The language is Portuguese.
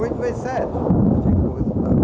Oito vezes sete, você tinha que pôr o resultado.